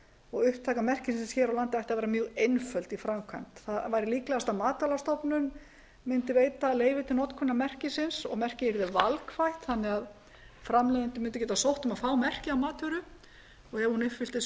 og upptaka merkisins hér á landi ætti að vera mjög einföld í framkvæmd það væri líklegast að matvælastofnun mundi veita leyfi til notkunar merkisins og merkið yrði valkvætt þannig að framleiðendur mundu geta sótt um að fá merkið á matvöru og ef hún uppfyllir svo